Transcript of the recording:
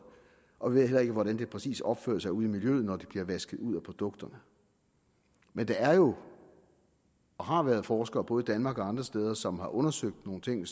og vi ved heller ikke hvordan det præcis opfører sig ude i miljøet når det bliver vasket ud af produkterne men der er jo og har været forskere i både danmark og andre steder som har undersøgt nogle ting